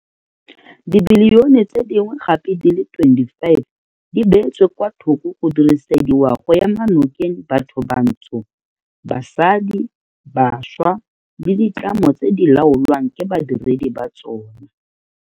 Dibilione tse dingwe gape di le 25 di beetswe kwa thoko go dirisediwa go ema nokeng bathobantsho, basadi, bašwa le ditlamo tse di laolwang ke badiredi ba tsona.